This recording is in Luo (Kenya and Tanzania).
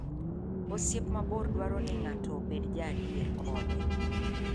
Osiep mabor dwaro ni ng'ato obed jaadier kode.